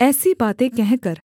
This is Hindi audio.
ऐसी बातें कहकर